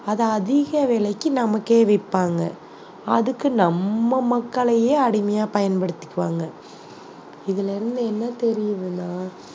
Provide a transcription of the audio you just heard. அதை அதிக விலைக்கு நமக்கே விற்பாங்க அதுக்கு நம்ம மக்களையே அடிமையா பயன்படுத்திக்குவாங்க இதுல இருந்து என்ன தெரியுதுன்னா